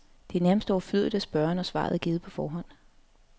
Det er nærmest overflødigt at spørge, når svaret er givet på forhånd.